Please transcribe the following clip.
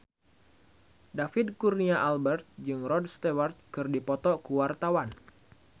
David Kurnia Albert jeung Rod Stewart keur dipoto ku wartawan